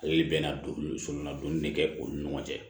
Ale bɛna don so la donni de kɛ u ni ɲɔgɔn cɛ